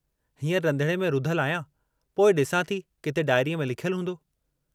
हींअर रंधिणे में रुधल आहियां, पोइ ॾिसां थी किथे डायरीअ में लिखयलु हूंदो।